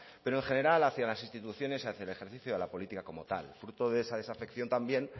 pero en general hacia las instituciones y hacia el ejercicio de la política como tal fruto de esa desafección también